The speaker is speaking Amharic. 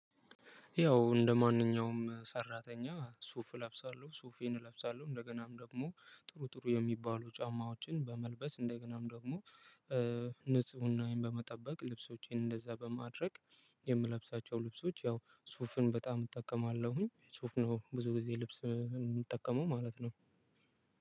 ያው እንደማንኛውም ሰራተኛ ሱፍ እለብሳለሁ ሱፌን እለብሳለሁ እንደገናም ደግሞ ጥሩ ጥሩ የሚባሉ ጫማዎችን በመልበስ እንደገናም ደግሞ ንጽሕናየን በመጠበቅ ልብሶቼን እንደዛ በማድረግ። የምለብሳቸው ልብሶች ያው ሱፍን በጣም እጠቀማለሁኝ ሱፍ ነው ብዙ ጊዜ ልብስ የምጠቀመው ማለት ነው።